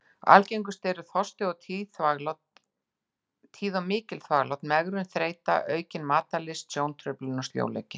Algengust eru: þorsti, tíð og mikil þvaglát, megrun, þreyta, aukin matarlyst, sjóntruflun, sljóleiki.